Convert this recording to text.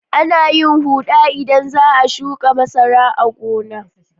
Ana yin huɗa idan za a shuƙa masara a gona.